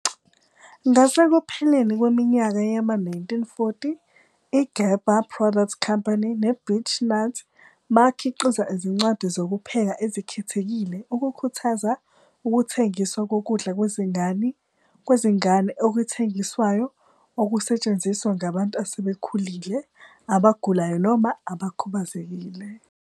Ngasekupheleni kweminyaka yama-1940, iGerber Products Company neBeech-Nut bakhiqiza izincwadi zokupheka ezikhethekile ukukhuthaza ukuthengiswa kokudla kwezingane okuthengiswayo okusetshenziswa ngabantu asebekhulile, abagulayo noma abakhubazekile.